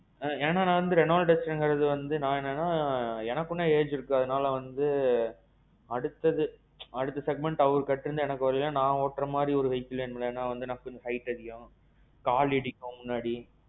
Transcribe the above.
ஏன்னா நான் வந்து Renault Dusterங்குறது வந்து நான் என்ன சொல்றேன்னா எனக்கு இன்னும் age இருக்கு அதனால வந்து, அடுத்தது அடுத்த segment அவர் கேட்டறிந்தா நான் ஓட்டுற மாதிரி வேணும்ல நமக்கு height அதிகம். கால் இடிக்கும் முன்னாடி.